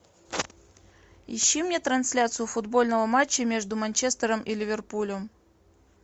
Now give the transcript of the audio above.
ищи мне трансляцию футбольного матча между манчестером и ливерпулем